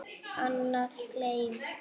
Annað: Gleymt.